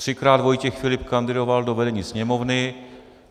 Třikrát Vojtěch Filip kandidoval do vedení Sněmovny.